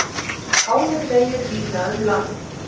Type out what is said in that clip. Hálir vegir víða um land